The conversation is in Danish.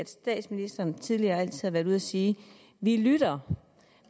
statsministeren tidligere har været ude at sige vi lytter